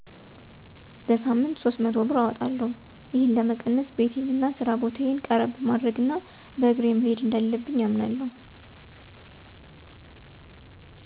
በሳምንት 300 ብር አወጣለሁ። ይህን ለመቀነስ ቤቴን ወደ ስራ ቦታየ ቀረብ ማድረግ እና በእግሬ መሄድ እንዳለብኝ አምናለሁ።